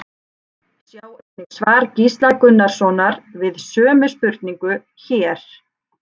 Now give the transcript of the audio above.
Sjá einnig svar Gísla Gunnarssonar við sömu spurningu, hér.